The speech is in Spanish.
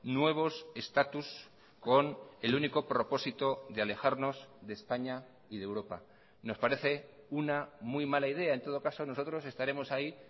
nuevos estatus con el único propósito de alejarnos de españa y de europa nos parece una muy mala idea en todo caso nosotros estaremos ahí